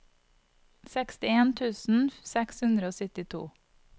sekstien tusen seks hundre og syttito